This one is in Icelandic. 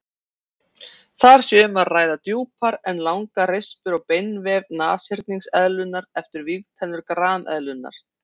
Þar sé um að ræða djúpar og langar rispur á beinvef nashyrningseðlunnar eftir vígtennur grameðlunnar.